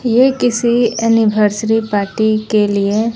ये किसी anniversary party के लिए--